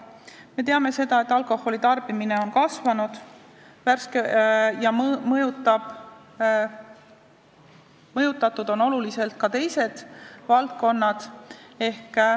Me teame, et alkoholitarbimine on kasvanud ja oluliselt on mõjutatud ka teised valdkonnad.